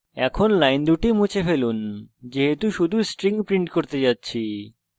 এখন এই দুটি lines মুছে ফেলুন যেহেতু আমরা শুধু string print করতে যাচ্ছি